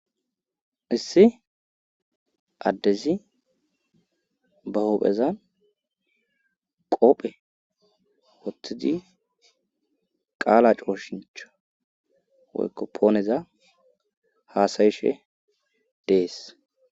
Issi addezi bahophezan qoophe woththidi qaala cooshincho woykko pooneza haasayishe dees.